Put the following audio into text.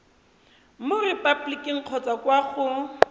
mo repaboliking kgotsa kwa go